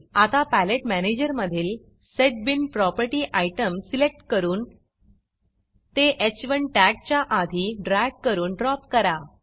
आता पॅलेट मॅनेजरमधील set bean Propertyसेट बीन प्रॉपर्टी आयटम सिलेक्ट करून ते ह1 टॅग्जच्या आधी ड्रॅग करून ड्रॉप करा